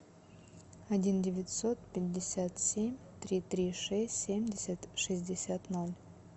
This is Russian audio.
один девятьсот пятьдесят семь три три шесть семьдесят шестьдесят ноль